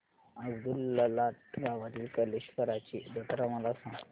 अब्दुललाट गावातील कलेश्वराची जत्रा मला सांग